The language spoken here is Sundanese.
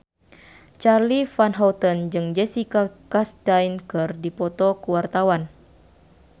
Charly Van Houten jeung Jessica Chastain keur dipoto ku wartawan